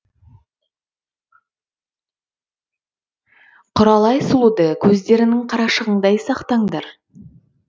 құралай сұлуды көздеріңнің қарашығындай сақтаңдар